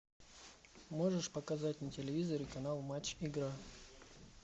можешь показать на телевизоре канал матч игра